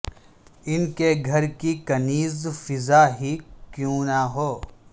ان کے گھر کی کنیز فضہ ہی کیوں نہ ہو